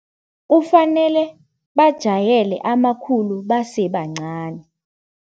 Kufanele bajayele amakhulu basebancani.